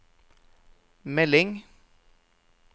melding